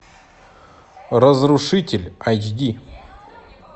разрушитель айч ди